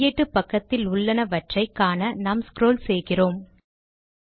இந்த கையேட்டு பக்கத்தில் உள்ளனவற்றை காண நாம் ஸ்க்ரால் செய்கிறேன்